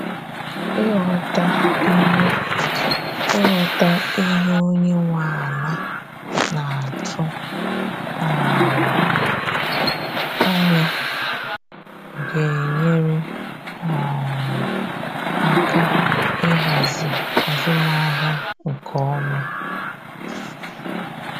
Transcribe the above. Ịghọta ihe Ịghọta ihe onye nwe ala naatụ um anya ga enyere um aka ịhazi azụmahịa nke ọma.